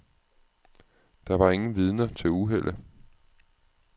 Der var ingen vidner til uheldet.